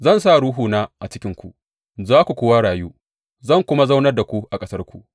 Zan sa Ruhuna a cikinku za ku kuwa rayu, zan kuma zaunar da ku a ƙasarku.